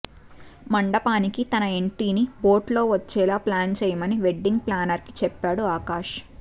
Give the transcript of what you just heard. మంటపానికి తన ఎంట్రీని బోట్లో వచ్చేలా ప్లాన్ చేయమని వెడ్డింగ్ ప్లానర్కి చెప్పాడు ఆకాశ్